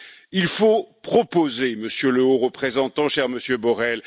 Il faut proposer, Monsieur le Haut Représentant, cher Monsieur Borrel.